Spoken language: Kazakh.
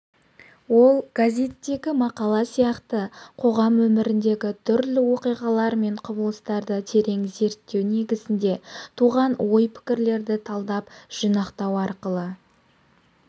ол газеттегі мақала сияқты қоғам өміріндегі түрлі оқиғалар мен құбылыстарды терең зерттеу негізінде туған ой-пікірлерді талдап жинақтау арқылы